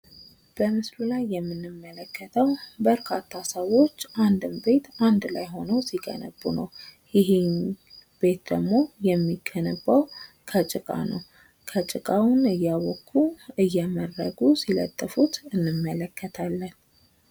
በምስሉ ላይ የምንመለከተው በርካታ ሰዎች አንድን ቤት አንድ ላይ ሆነው ሲገነቡ ነው። ይሄ ቤት ደግሞ የሚገነባው ከጭቃ ነው። ጭቃውን እያቦኩ እየመረጉ ሲለጥፉት እንመለከታለን።